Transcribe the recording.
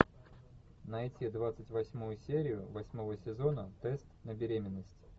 найти двадцать восьмую серию восьмого сезона тест на беременность